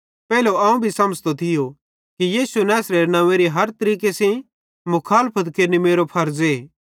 पेइले अवं भी समझ़तो थियो कि यीशु नैसरेरे नव्वेंरी हर तरीके मुखालफत केरनि मेरो फरज़े